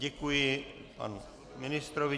Děkuji panu ministrovi.